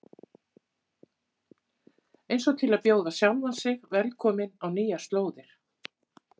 Eins og til að bjóða sjálfan sig velkominn á nýjar slóðir.